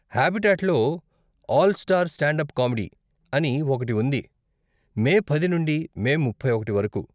హాబిటాట్లో 'all star standup comedy' అని ఒకటి ఉంది మే పది నుండి మే ముప్పై ఒకటి వరకు.